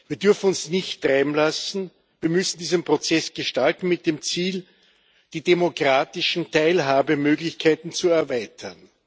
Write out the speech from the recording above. Wir dürfen uns nicht treiben lassen, wir müssen diesen Prozess gestalten mit dem Ziel, die demokratischen Teilhabemöglichkeiten zu erweitern.